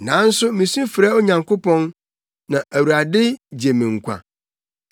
Nanso misu frɛ Onyankopɔn, na Awurade gye me nkwa.